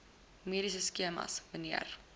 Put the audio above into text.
mediese skemas mnr